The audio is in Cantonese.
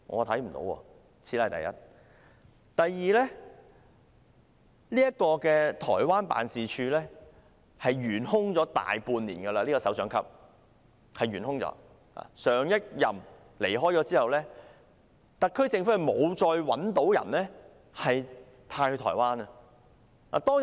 其次是，這個台灣辦事處的首長級職位已懸空大半年，自上一任首長離任後，特區政府沒有再另覓人選派駐台灣。